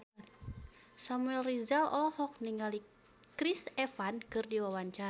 Samuel Rizal olohok ningali Chris Evans keur diwawancara